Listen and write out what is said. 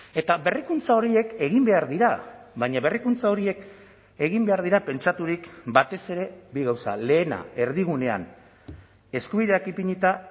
eta berrikuntza horiek egin behar dira baina berrikuntza horiek egin behar dira pentsaturik batez ere bi gauza lehena erdigunean eskubideak ipinita